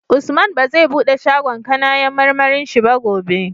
Usman bazai buɗe shagon kAnayan marmarin shi ba gobe